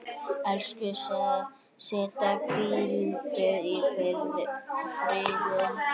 Elsku Setta, hvíldu í friði.